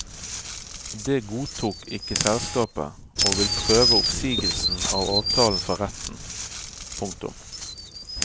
Det godtok ikke selskapet og vil prøve oppsigelsen av avtalen for retten. punktum